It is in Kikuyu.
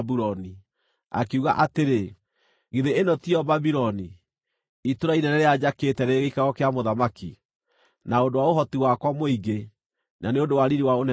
akiuga atĩrĩ, “Githĩ ĩno tiyo Babuloni, itũũra inene rĩrĩa njakĩte rĩrĩ gĩikaro kĩa mũthamaki, na ũndũ wa ũhoti wakwa mũingĩ, na nĩ ũndũ wa riiri wa ũnene wakwa?”